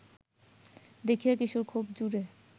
দেখিয়া কিশোর খুব জোরে